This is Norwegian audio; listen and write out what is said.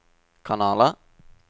kanaler